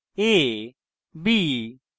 > a b